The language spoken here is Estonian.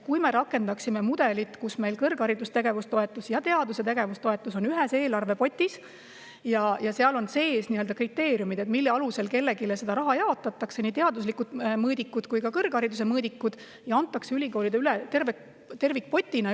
Kui me rakendaksime mudelit, kus kõrghariduse tegevustoetus ja teaduse tegevustoetus on ühes eelarvepotis ja seal on ka kriteeriumid, mille alusel kellelegi seda raha jaotatakse – nii teaduslikud mõõdikud kui ka kõrghariduse mõõdikud –, siis antaks ülikoolidele see üle tervikpotina.